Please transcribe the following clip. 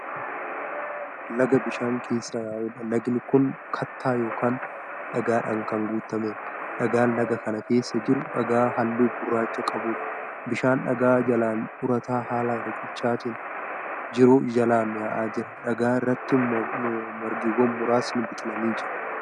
Laga bishaan keessa yaa'udha. lagni Kuni kattaa yookaan dhagaadhaan Kan guutameedha. dhagaan Laga kana keessa jiru dhagaa halluu gurraacha qabuudha. bishaan dhagaa jalaan urataa haala riqichaatiin jiru jalaan yaa'aa jira. dhagaa irraatti margiwwan muraasni biqilanii jiru.